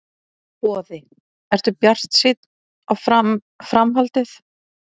Boði: Ertu bjartsýnn á fram, framhaldið?